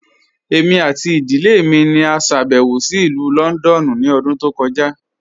Ẹ̀mi àti ìdílẹ̀ mi ni à ṣàbẹ̀wò sí Ilù Lọ́ndọ̀nù ni ọ̀dún tó kọja.